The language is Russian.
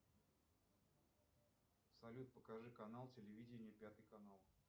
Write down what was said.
салют покажи канал телевидения пятый канал